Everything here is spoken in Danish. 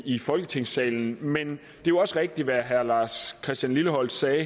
i folketingssalen men det jo også rigtigt hvad herre lars christian lilleholt sagde